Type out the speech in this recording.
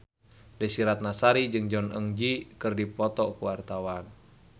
Desy Ratnasari jeung Jong Eun Ji keur dipoto ku wartawan